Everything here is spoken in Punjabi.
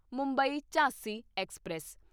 ਮੁੰਬਈ ਝਾਂਸੀ ਐਕਸਪ੍ਰੈਸ